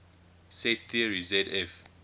set theory zf